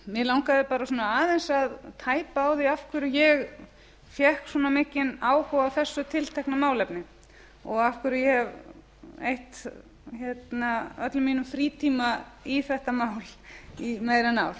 mig langaði svona aðeins að tæpa á því af hverju ég fékk svona mikinn áhuga á þessu tiltekna málefni og af hverju ég hef eytt öllum mínum frítíma í þetta mál í meira en